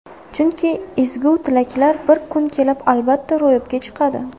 Chunki ezgu tilaklar bir kun kelib, albatta, ro‘yobga chiqadi.